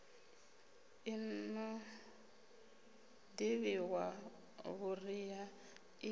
i no ṱavhiwa vhuriha i